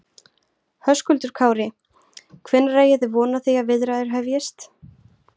Höskuldur Kári: Hvenær eigi þið von á því að viðræður hefjist?